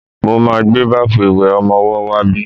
Mo ma gbé báfù ìwẹ̀ ọmọwọ́ wá bí.